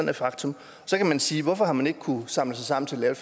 et faktum så kan man sige hvorfor har man ikke kunnet samle sig sammen til at